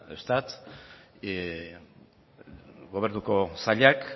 eustat gobernuko sailak